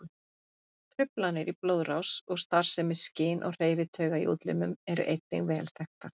Truflanir í blóðrás og starfsemi skyn- og hreyfitauga í útlimum eru einnig vel þekktar.